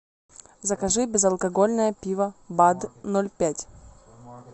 закажи безалкогольное пиво бад ноль пять